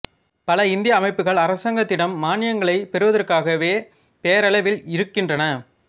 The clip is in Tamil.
பல இந்திய அமைப்புகள் அரசாங்கத்திடம் மான்யங்களைப் பெறுவதற்காகவே பெயரளவில் இருக்கின்றன